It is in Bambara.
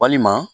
Walima